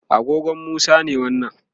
agogon Musa ne wannan